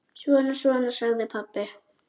Svona, svona, sagði pabbi.